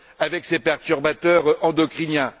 avec ces perturbateurs endocriniens.